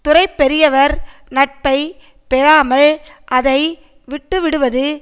துறை பெரியவர் நட்பை பெறாமல் அதை விட்டு விடுவது